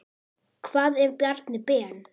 Hvað ef Bjarni Ben.